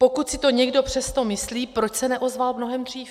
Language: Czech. Pokud si to někdo přesto myslí, proč se neozval mnohem dřív?